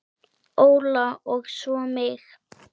Óla og svo mig.